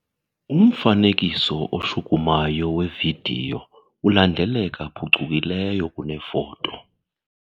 Umfanekiso oshukumayo wevidiyo ulandeleka phucukileyo kunefoto.